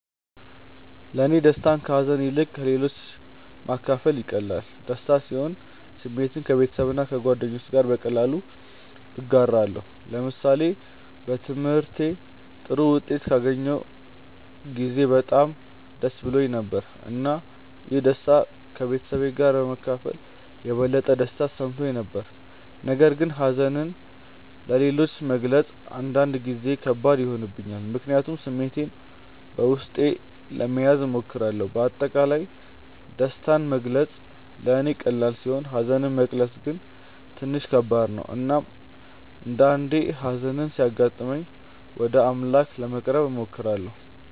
ለእኔ ደስታን ከሀዘን ይልቅ ለሌሎች ማካፈል ይቀላል። ደስተኛ ስሆን ስሜቴን ከቤተሰብና ከጓደኞቼ ጋር በቀላሉ እጋራለሁ። ለምሳሌ በትምህርቴ ጥሩ ውጤት ባገኘሁ ጊዜ በጣም ደስ ብሎኝ ነበር፣ እና ይህን ደስታ ከቤተሰቤ ጋር በመካፈል የበለጠ ደስታ ተሰምቶኝ ነበር። ነገር ግን ሀዘንን ለሌሎች መግለጽ አንዳንድ ጊዜ ከባድ ይሆንብኛል፣ ምክንያቱም ስሜቴን በውስጤ ለመያዝ እሞክራለሁ። በአጠቃላይ ደስታን መግለጽ ለእኔ ቀላል ሲሆን ሀዘንን መግለጽ ግን ትንሽ ከባድ ነው። እናም አንዳአንዴ ሀዘን ሲያጋጥመኝ ወደ አምላክ ለመቅረብ እሞክራለሁ።